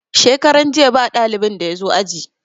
Shekaran jiya ba dalibin da ya zo aji.